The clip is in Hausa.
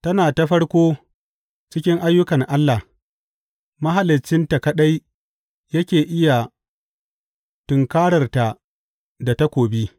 Tana ta farko cikin ayyukan Allah, Mahaliccinta kaɗai yake iya tunkarar ta da takobi.